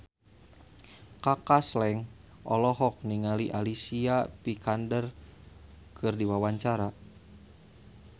Kaka Slank olohok ningali Alicia Vikander keur diwawancara